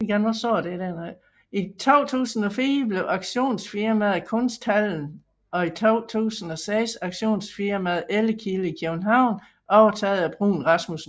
I 2004 blev auktionsfirmaet Kunsthallen og i 2006 auktionsfirmaet Ellekilde i København overtaget af Bruun Rasmussen